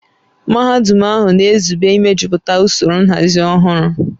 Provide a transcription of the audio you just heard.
Mahadum ahụ na-ezube imejuputa usoro nhazi ọhụrụ